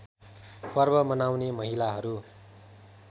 पर्व मनाउने महिलाहरू